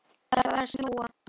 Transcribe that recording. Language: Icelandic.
Það er farið að snjóa.